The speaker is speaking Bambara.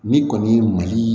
N'i kɔni ye mali